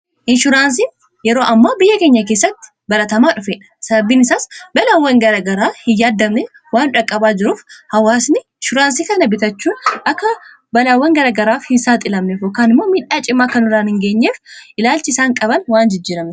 inshuraansiin yeroo ammaa biyya keenya keessatti baratamaa dhufeedha sababbiin isaas balaawwan garagaraa hin yaaddamne waan dhaqqabaa jiruuf hawaasni ishuraansii kana bitachuu akka balaawwan garagaraaf hinsaaxiilamnef yookaan immoo miidhaa cimaa akkanurra hin geenyeef ilaalchi isaan qaban waan jijjiiramneef